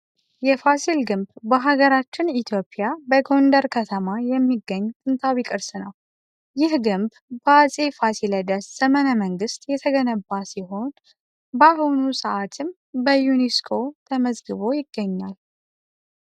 የፋሲል ግንብ በሀገራችን ኢትዮጵያ በጎንደር ከተማ የሚገኝ ጥንታዊ ቅርስ ነው። ይህ ግንብ በአፄ ፋሲለደስ ዘመነ መንግስት የተገነባ ሲሆን በአሁኑ ሰዓትም በዩኒስኮ ተመዝግቦ ይገኛል።